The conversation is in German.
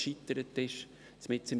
Seite 29 im RPB